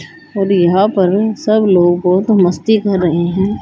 और यहां पर सब लोगों को मस्ती कर रहे हैं।